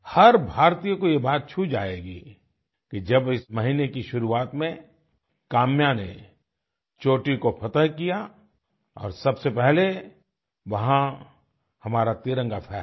हर भारतीय को ये बात छू जायेगी कि जब इस महीने की शुरुआत में काम्या ने चोटी को फ़तेह किया और सबसे पहले वहाँ हमारा तिरंगा फहराया